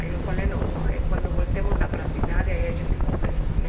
Aí eu falei, não, quando voltemos lá para a cidade, aí a gente conversa, né.